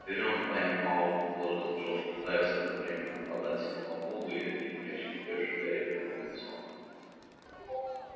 берём тайм-аут предложил джордж пытаясь одновременно подать сигнал вуду и отбить мяч летевший гарри прямо в лицо